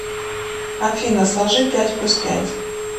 афина сложи пять плюс пять